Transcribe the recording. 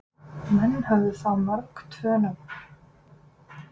Menn höfðu þá mjög tvö nöfn.